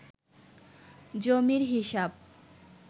জমির হিসাব